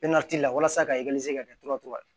walasa ka ka kɛ to ka